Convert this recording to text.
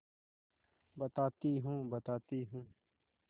बताती हूँ बताती हूँ